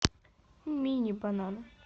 мини банан